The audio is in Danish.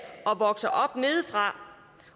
og vokser op nedefra